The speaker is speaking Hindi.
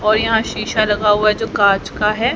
और यहां शीशा लगा हुआ है जो कांच का है।